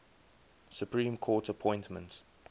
supreme court appointments